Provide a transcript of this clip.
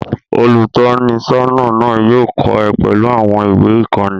Olùtọ́nisọ́nà náà yóò kọ́ ẹ pẹ̀lú àwọn ìwé-ìkọ́ni.